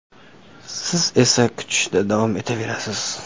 Siz esa kutishda davom etaverasiz.